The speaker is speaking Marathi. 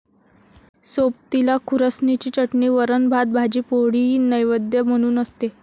सोबतीला खुरासणीची चटणी, वरण, भात, भाजी पोळीही नैवेद्य म्हणून असते.